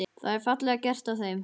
Það er fallega gert af þeim.